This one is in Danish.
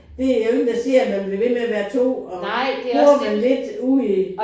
Det der jo ingen der siger at man bliver ved med at være to og bor man lidt ude